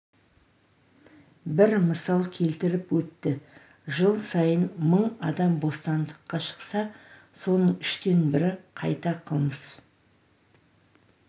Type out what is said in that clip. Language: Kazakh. бір мысал келтіріп өтті жыл сайын мың адам бостандыққа шықса соның үштен бірі қайта қылмыс